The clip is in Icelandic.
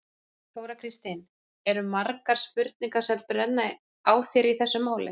Þóra Kristín: Eru margar spurningar sem brenna á þér í þessu máli?